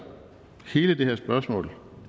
hele det her spørgsmål